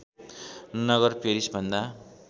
नगर पेरिसभन्दा